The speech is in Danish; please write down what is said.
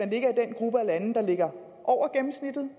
ligger i den gruppe af lande der ligger over gennemsnittet